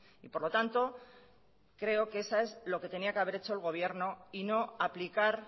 y por lo tanto creo que eso es lo que tenía que haber hecho el gobierno y no aplicar